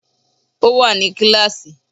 Ó wà ní kíáàsì